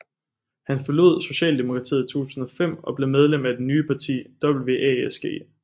Han forlod socialdemokratiet i 2005 og blev medlem af det nye parti WASG